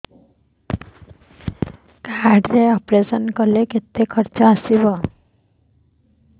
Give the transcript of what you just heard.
card ରେ operation କଲେ କେତେ ଖର୍ଚ ଆସିବ